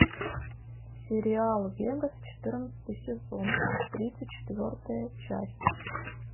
сериал вегас четырнадцатый сезон тридцать четвертая часть